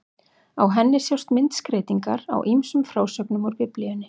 Á henni sjást myndskreytingar á ýmsum frásögnum úr Biblíunni.